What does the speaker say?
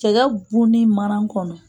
Cɛgɛ bunnin mana kɔnɔ